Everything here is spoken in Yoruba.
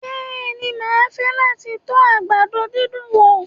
Bẹ́ẹ̀ni, mà á fẹ́ láti to àgbàdo dídùn wo